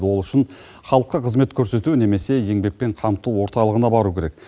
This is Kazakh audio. ол үшін халыққа қызмет көрсету немесе еңбекпен қамту орталығына бару керек